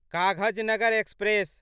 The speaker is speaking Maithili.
काघजनगर एक्सप्रेस